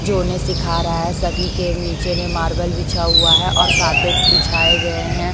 जो उन्हे सीखा रहा है सभी के नीचे में मार्बल बिछा हुआ है और कार्पेट बिछाए गए हैं।